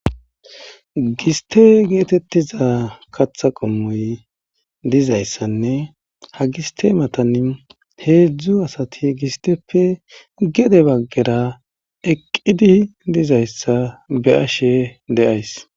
Giste getetiza kata qomoy dizayisann ha giste matani heedzdzu asati gisteppe gede bagara eqidi dizayisa beashe deayis.